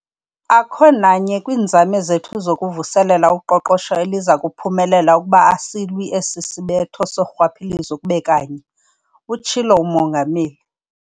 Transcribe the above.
"Akho nanye kwiinzame zethu zokuvuselela uqoqosho eliza kuphumelela ukuba asilwi esi sibetho sorhwaphilizo kube kanye," utshilo uMongameli.